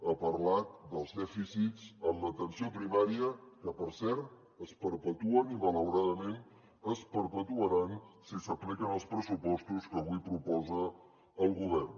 ha parlat dels dèficits en l’atenció primària que per cert es perpetuen i malauradament es perpetuaran si s’apliquen els pressupostos que avui proposa el govern